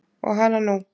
Og hana nú.